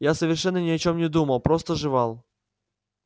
я совершенно ни о чем не думал просто жевал